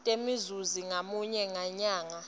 temzuzi ngamunye ngenyanga